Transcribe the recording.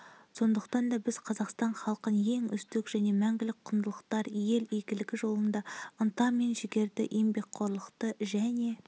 сондықтан да біз қазақстан халқын ең үздік және мәңгілік құндылықтар ел игілігі жолында ынта мен жігерді еңбекқорлықты және